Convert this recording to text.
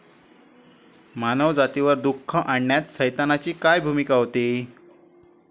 मानवजातीवर दुःख आणण्यात सैतानाची काय भूमिका होती?